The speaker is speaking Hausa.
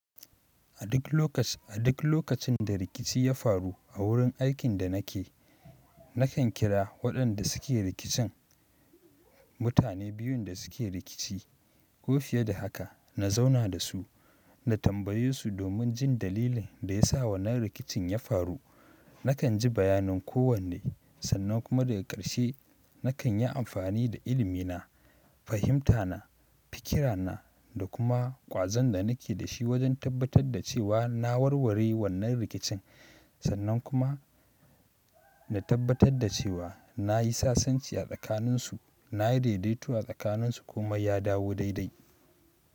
A duk lokaci, a duk lokacin da rikici ya faru a wurin aikin da nake, nakan kira waɗanda suke rikicin, mutane biyun da suke rikici ko fiye da haka, na zauna da su, na tambaye su domin jin dalilin da ya sa wannan rikicin ya faru. Nakan ji bayanin kowanne sannan kuma daga ƙarshe nakan yi amfani da ilimina, fahimtana, fikira na da kuma ƙwazon da nake da shi wajen tabbatar da cewa na warware wannan rikicin sannan kuma na tabbatar da cewa na yi sasanci a tsakaninsu. Nayi daidaituwa sakanin su kuma ya dawo daidai.